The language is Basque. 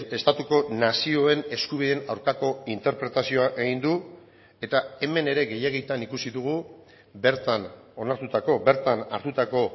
estatuko nazioen eskubideen aurkako interpretazioa egin du eta hemen ere gehiegitan ikusi dugu bertan onartutako bertan hartutako